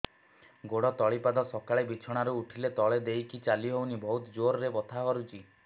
ଗୋଡ ତଳି ପାଦ ସକାଳେ ବିଛଣା ରୁ ଉଠିଲେ ତଳେ ଦେଇକି ଚାଲିହଉନି ବହୁତ ଜୋର ରେ ବଥା କରୁଛି